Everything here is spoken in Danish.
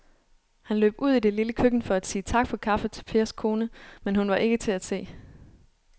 Han løb ud i det lille køkken for at sige tak for kaffe til Pers kone, men hun var ikke til at se.